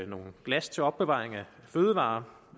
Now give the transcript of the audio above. nogle glas til opbevaring af fødevarer